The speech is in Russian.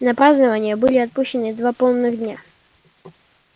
на празднования были отпущены два полных дня